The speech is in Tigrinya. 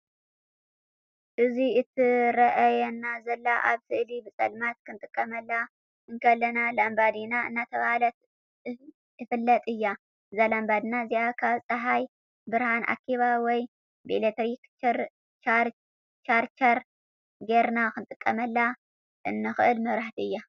እዚ እትረአየና ዘለና ኣብ ስእሊ ብፀልማት ክንጥቀመላ እንክእል ላምባዲና እናተባሃለት እፍለጥ እያ። እዛ ላምባዲና እዚኣ ካብ ፃሃይ ብርሃን ኣኪባ ወይ ብኤሌትሪክ ቻርቸር ጌርና ክንጥቀመላ እንክእል መብራቲ እያ።